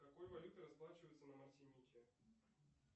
какой валютой расплачиваются на мартинике